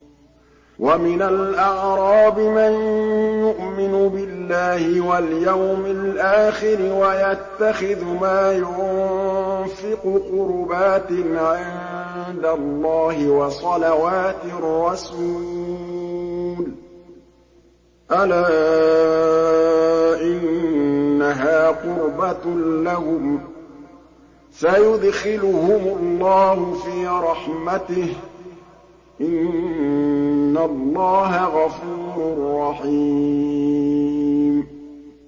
وَمِنَ الْأَعْرَابِ مَن يُؤْمِنُ بِاللَّهِ وَالْيَوْمِ الْآخِرِ وَيَتَّخِذُ مَا يُنفِقُ قُرُبَاتٍ عِندَ اللَّهِ وَصَلَوَاتِ الرَّسُولِ ۚ أَلَا إِنَّهَا قُرْبَةٌ لَّهُمْ ۚ سَيُدْخِلُهُمُ اللَّهُ فِي رَحْمَتِهِ ۗ إِنَّ اللَّهَ غَفُورٌ رَّحِيمٌ